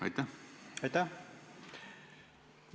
Aitäh!